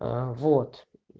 аа вот